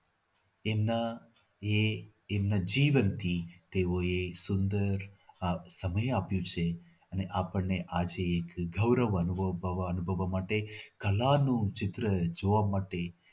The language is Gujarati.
એમના એ એમના જીવનથી તેઓ એ સુંદર આ સમય આપ્યું છે અને આપણને આજે ગૌરવ અનુભવવા માટે કલા નું ચિત્ર જોવા માટે